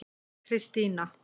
Kristína